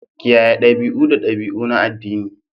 Kiyaye dabi'u da dabi'u na addini